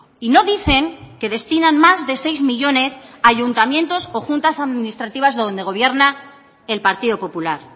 y no dicen que destinan más de seis millónes a ayuntamientos o juntas administrativas donde gobierna el partido popular